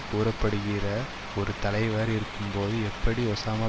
கூற படுகிற ஒரு தலைவர் இருக்கும்போது எப்படி ஒசாமா